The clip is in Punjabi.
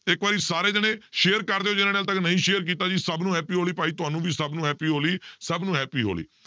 ਤੇ ਇੱਕ ਵਾਰੀ ਸਾਰੇ ਜਾਣੇ share ਕਰ ਦਿਓ ਜਿਹਨਾਂ ਨੇ ਹਾਲੇ ਤੱਕ ਨਹੀਂ share ਕੀਤਾ ਜੀ, ਸਭ ਨੂੰ happy ਹੋਲੀ ਭਾਈ ਤੁਹਾਨੂੰ ਵੀ ਸਭ ਨੂੰ happy ਹੋਲੀ ਸਭ ਨੂੰ happy ਹੋਲੀ